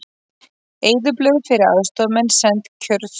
Eyðublöð fyrir aðstoðarmenn send kjörstjórnum